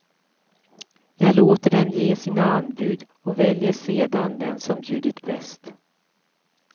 Jag låter dem ge sina anbud och väljer sedan den som bjudit bäst.